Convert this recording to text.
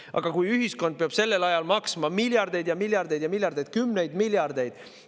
Aga kui ühiskond peab sellel ajal maksma miljardeid ja miljardeid ja miljardeid – kümneid miljardeid!